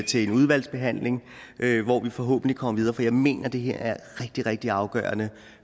til en udvalgsbehandling hvor vi forhåbentlig kommer videre for jeg mener at det her er rigtig rigtig afgørende